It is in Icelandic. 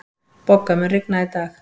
Bogga, mun rigna í dag?